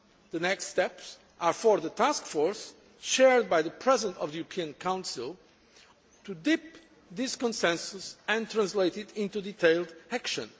The next steps are for the task force chaired by the President of the European Council to take this consensus and translate it into detailed action.